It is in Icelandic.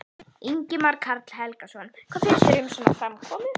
Ingimar Karl Helgason: Hvað finnst þér um svona framkomu?